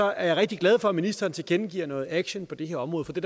er jeg rigtig glad for at ministeren tilkendegiver noget aktion på det her område for det